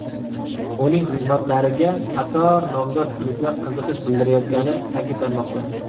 Uning xizmatlariga qator nomdor klublar qiziqish bildirayotgani ta’kidlanmoqda.